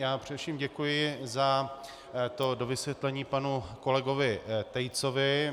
Já především děkuji za to dovysvětlení panu kolegovi Tejcovi.